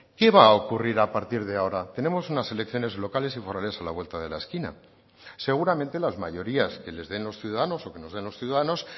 qué va a ocurrir a partir de ahora tenemos unas elecciones locales y forales a la vuelta de la esquina seguramente las mayorías que les den los ciudadanos o que nos den los ciudadanos